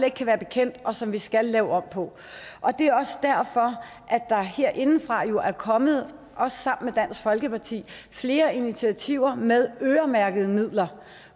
ikke kan være bekendt og som vi skal lave om på og det er også derfor at der herindefra jo er kommet også sammen dansk folkeparti flere initiativer med øremærkede midler